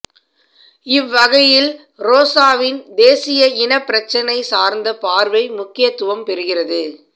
இவ்வகையில் ரோசாவின் தேசிய இனப் பிரச்சினை சார்ந்த பார்வை முக்கியத்துவம் பெறுகிறது